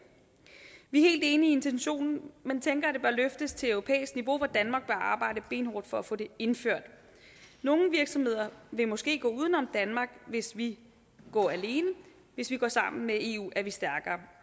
vi er helt enige i intentionen men tænker at det bør løftes til europæisk niveau hvor danmark arbejde benhårdt for at få det indført nogle virksomheder vil måske gå uden om danmark hvis vi går alene hvis vi går sammen med eu er vi stærkere